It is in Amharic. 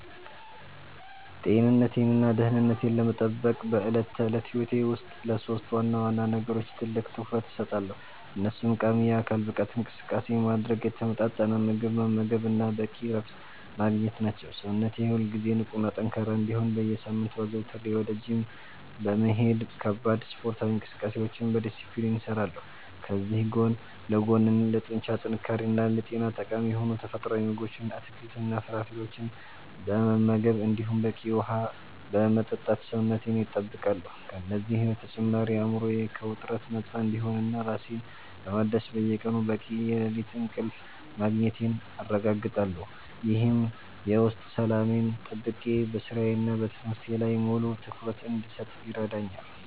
ጤንነቴንና ደህንነቴን ለመጠበቅ በዕለት ተዕለት ሕይወቴ ውስጥ ለሦስት ዋና ዋና ነገሮች ትልቅ ትኩረት እሰጣለሁ፤ እነሱም ቋሚ የአካል ብቃት እንቅስቃሴ ማድረግ፣ የተመጣጠነ ምግብ መመገብ እና በቂ እረፍት ማግኘት ናቸው። ሰውነቴ ሁልጊዜ ንቁና ጠንካራ እንዲሆን በየሳምንቱ አዘውትሬ ወደ ጂም በመሄድ ከባድ ስፖርታዊ እንቅስቃሴዎችን በዲስፕሊን እሰራለሁ፤ ከዚህ ጎን ለጎንም ለጡንቻ ጥንካሬና ለጤና ጠቃሚ የሆኑ ተፈጥሯዊ ምግቦችን፣ አትክልትና ፍራፍሬዎችን በመመገብ እንዲሁም በቂ ውሃ በመጠጣት ሰውነቴን እጠብቃለሁ። ከእነዚህ በተጨማሪ አእምሮዬ ከውጥረት ነፃ እንዲሆንና ራሴን ለማደስ በየቀኑ በቂ የሌሊት እንቅልፍ ማግኘቴን አረጋግጣለሁ፤ ይህም የውስጥ ሰላሜን ጠብቄ በሥራዬና በትምህርቴ ላይ ሙሉ ትኩረት እንድሰጥ ይረዳኛል።